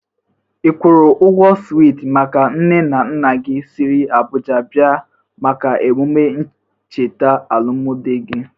I kwụrụ ụgwọ switi maka nne na nna gi siri Abụja bia maka emụme ncheta alụmdị gị?